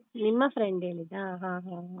ನಿಮ್ಮ friend ಹೇಳಿದ್ದಾ ಹಾ ಹಾ ಹಾ.